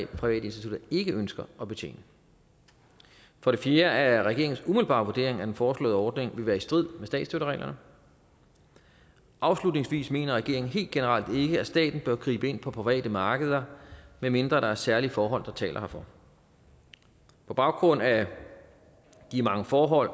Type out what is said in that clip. private institutter ikke ønsker at betjene for det fjerde er regeringens umiddelbare vurdering at den foreslåede ordning vil være i strid med statsstøttereglerne afslutningsvis mener regeringen helt generelt ikke at staten bør gribe ind på private markeder medmindre der er særlige forhold der taler herfor på baggrund af de mange forhold